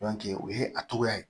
o ye a togoya ye